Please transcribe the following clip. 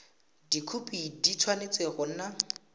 dikhopi di tshwanetse go nna